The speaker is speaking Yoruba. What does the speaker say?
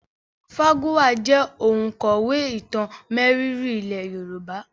Fágúnwà jẹ́ òǹkọ̀wé ìtàn mérìíìírí ilé Yorùbá